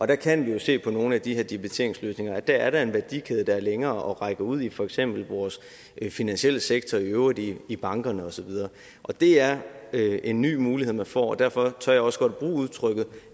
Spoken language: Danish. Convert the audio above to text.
der kan vi jo se på nogle af de her debiteringsløsninger at der er en værdikæde der er længere og som rækker ud i for eksempel vores finansielle sektor i øvrigt i i bankerne og så videre det er en ny mulighed man får og derfor tør jeg også godt bruge udtrykket